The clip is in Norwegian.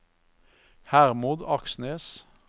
Hermod Aksnes